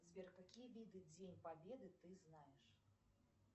сбер какие виды день победы ты знаешь